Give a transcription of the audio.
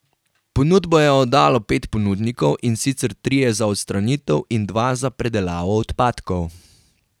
Ponudbo je oddalo pet ponudnikov, in sicer trije za odstranitev in dva za predelavo odpadkov.